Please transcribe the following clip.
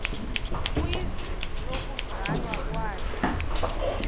kwizwe lokuzalwa kwakhe